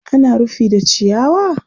Ana rufi da ciyawa?